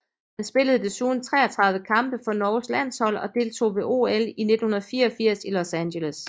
Han spillede desuden 33 kampe for Norges landshold og deltog ved OL i 1984 i Los Angeles